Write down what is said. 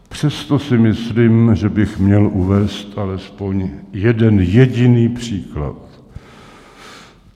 Přesto si myslím, že bych měl uvést alespoň jeden jediný příklad.